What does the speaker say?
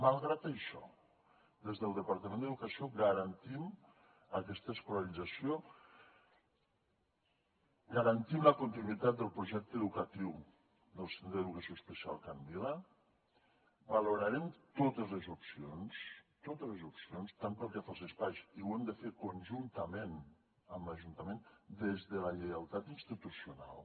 malgrat això des del departament d’educació garantim aquesta escolarització garantim la continuïtat del projecte educatiu del centre d’educació especial can vila valorarem totes les opcions totes les opcions tant pel que fa als espais i ho hem de fer conjuntament amb l’ajuntament des de la lleialtat institucional